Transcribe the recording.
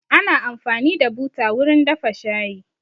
Ana amfani da buta wurin dafa shayi